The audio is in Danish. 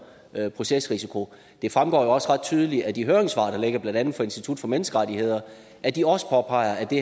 procesrisiko det fremgår jo også ret tydeligt af de høringssvar der ligger blandt andet fra institut for menneskerettigheder at de også påpeger at det